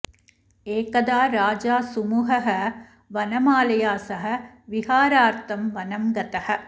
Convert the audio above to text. एकदा राजा सुमुहः वनमालया सह विहारार्थं वनं गतः